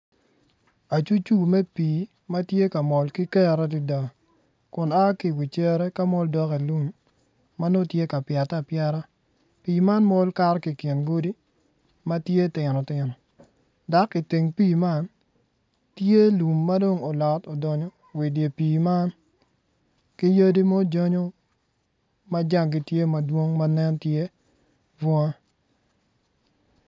Acurcur me pii ma tye ka mol ki kero adada kun a ki i wi cere ma nongo tye ka pyete apyeta pii man mol kato ki i kingodi ma tye tino tino dok i teng pii man tye lum madong olot odonyo wa i pii man ki ya ma jangi tye madwong bunga.